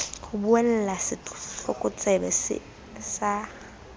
ho buella setlokotsebe see sa